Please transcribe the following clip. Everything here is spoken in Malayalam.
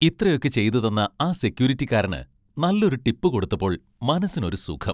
ഇത്രയൊക്കെ ചെയ്തുതന്ന ആ സെക്ക്യൂരിറ്റിക്കാരന് നല്ലൊരു ടിപ്പ് കൊടുത്തപ്പോൾ മനസ്സിനൊരു സുഖം.